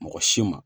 Mɔgɔ si ma